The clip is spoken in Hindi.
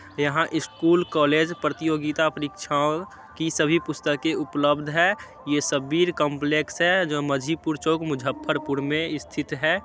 यहाँ स्कूल कॉलेज प्रतियोगिता परीक्षाओं की सभी पुस्तके उपलब्ध हैं। ये शब्बीर काम्प्लेक्स है जो मजीपुर चौक मुजफ्परपुर में स्थित है।